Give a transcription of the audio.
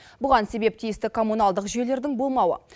бұған себеп тиісті коммуналдық жүйелердің болмауы